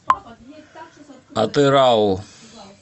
атырау